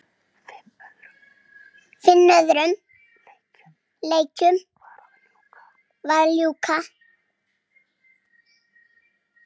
Fimm öðrum leikjum var að ljúka